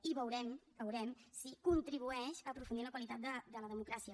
i veurem ho veurem si contribueix a aprofundir en la qualitat de la democràcia